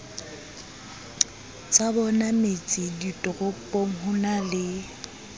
tsabona metseditoropong ho na le